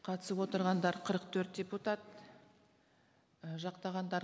қатысып отырғандар қырық төрт депутат і жақтағандар